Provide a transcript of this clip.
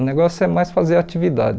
O negócio é mais fazer atividade.